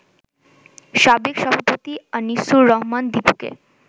সাবেক সভাপতি আনিছুর রহমান দিপুকে